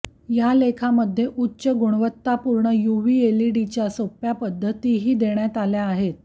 या लेखामध्ये उच्च गुणवत्तापूर्ण युव्ही एलईडीच्या सोप्या पद्धतीही देण्यात आल्या आहेत